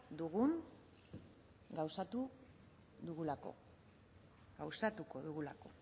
dugun gauzatu dugulako gauzatuko dugulako